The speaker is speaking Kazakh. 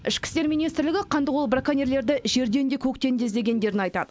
ішкі істер министрлігі қандықол браконьерлерді жерден де көктен де іздегендерін айтады